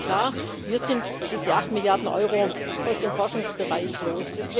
Aber eines ist klar Wir sind diese 8 Milliarden Euro aus dem Forschungsbereich los.